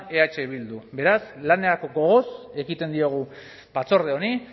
eh bildu beraz lanerako gogoz ekiten diogu batzorde honi